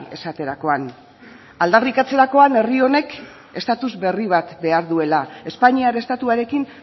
esaterakoan aldarrikatzerakoan herri honek estatus berri bat behar duela espainiar estatuarekin